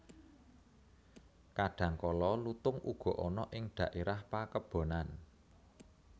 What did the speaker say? Kadhangkala lutung uga ana ing dhaérah pakebonan